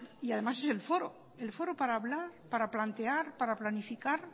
y además es el foro el foro para hablar para plantear para planificar